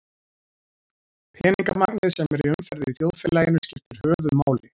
Peningamagnið sem er í umferð í þjóðfélaginu skiptir höfuðmáli.